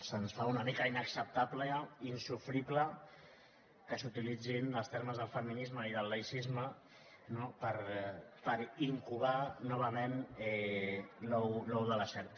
se’ns fa una mica inacceptable insofrible que s’utilitzin els termes de feminisme i de laïcisme no per incubar novament l’ou de la serp